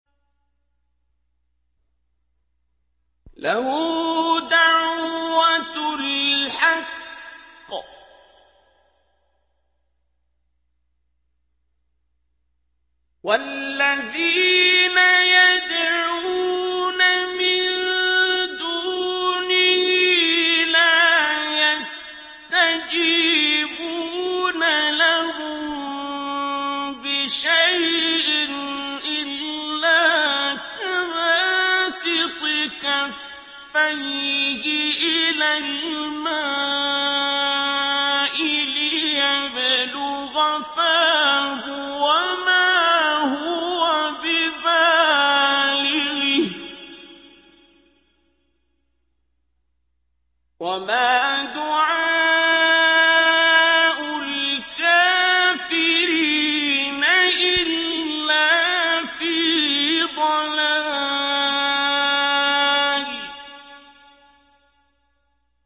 لَهُ دَعْوَةُ الْحَقِّ ۖ وَالَّذِينَ يَدْعُونَ مِن دُونِهِ لَا يَسْتَجِيبُونَ لَهُم بِشَيْءٍ إِلَّا كَبَاسِطِ كَفَّيْهِ إِلَى الْمَاءِ لِيَبْلُغَ فَاهُ وَمَا هُوَ بِبَالِغِهِ ۚ وَمَا دُعَاءُ الْكَافِرِينَ إِلَّا فِي ضَلَالٍ